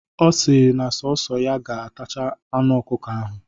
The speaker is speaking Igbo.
Ọ si na sọọsọ ya ga-atacha anụ ọkụkọ ahụ.